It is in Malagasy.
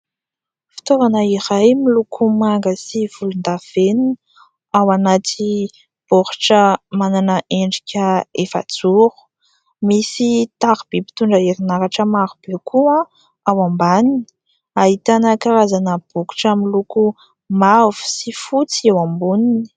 Fitaovana iray miloko manga sy volondavenona, ao anaty baoritra manana endrika efajoro; misy tariby mpitondra herinaratra maro be koa ao ambaniny, ahitana karazana bokotra miloko mavo sy fotsy eo amboniny.